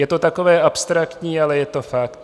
Je to takové abstraktní, ale je to fakt.